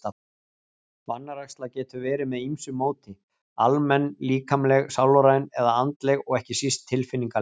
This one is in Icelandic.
Vanræksla getur verið með ýmsu móti, almenn, líkamleg, sálræn eða andleg og ekki síst tilfinningaleg.